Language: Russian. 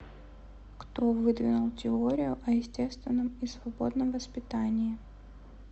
кто выдвинул теорию о естественном и свободном воспитании